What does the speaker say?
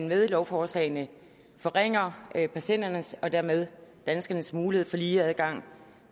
med lovforslagene forringer patienternes og dermed danskernes mulighed for lige adgang